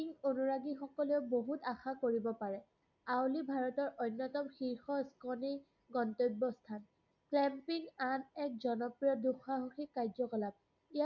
উত্তৰাখণ্ডত কি অনুৰাগিসকলেও বহুত আশা কৰিব পাৰে। আৱলি ভাৰতৰ অন্যতম শীৰ্ষ গন্তব্যস্থান। আন এক জনপ্ৰিয় দুসাহসিক কাৰ্য্যকলাপ